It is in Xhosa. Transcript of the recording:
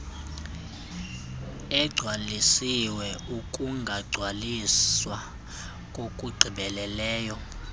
egcwalisiwe ukungagcwaliswa ngokugqibeleleyo